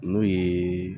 N'o ye